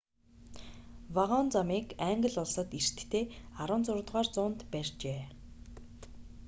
вагон замыг англи улсад эртдээ 16-р зуунд барьжээ